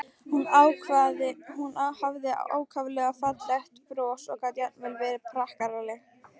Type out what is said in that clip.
Hún hafði ákaflega fallegt bros og gat jafnvel verið prakkaraleg.